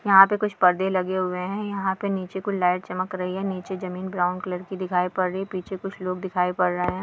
यहाँ पे कुछ परदे लगे हुए है यहाँ पे नीचे कुछ लाइट चमक रही है नीचे जमीन ब्राउन कलर की दिखाई पड़ रही है पीछे कुछ लोग दिखाई पड़ रहे है।